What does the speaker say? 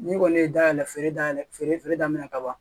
Ni kɔni ye dayɛlɛ feere dayɛlɛ feere daminɛ ka ban